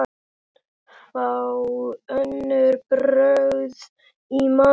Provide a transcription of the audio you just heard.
Fá önnur brögð í matinn.